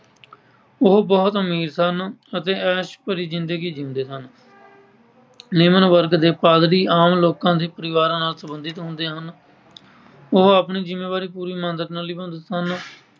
ਉਹ ਬਹੁਤ ਅਮੀਰ ਸਨ ਅਤੇ ਐਸ਼ ਭਰੀ ਜਿੰਦਗੀ ਜਿਉਂਦੇ ਸਨ। ਨਿਮਨ ਵਰਗ ਦੇ ਪਾਦਰੀ ਆਮ ਲੋਕਾਂ ਦੇ ਪਰਿਵਾਰਾਂ ਨਾਲ ਸਬੰਧਿਤ ਹੁੰਦੇ ਹਨ। ਉਹ ਆਪਣੀ ਜਿੰਮੇਵਾਰੀ ਪੂਰੀ ਇਮਾਨਦਾਰੀ ਨਾਲ ਨਿਭਾਉਂਦੇ ਸਨ।